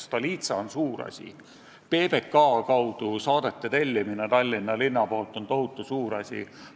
Stolitsa on suur asi, PBK kaudu saadete tellimine Tallinna linna poolt on tohutu suur asi.